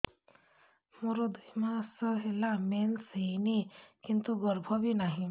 ମୋର ଦୁଇ ମାସ ହେଲା ମେନ୍ସ ହେଇନି କିନ୍ତୁ ଗର୍ଭ ବି ନାହିଁ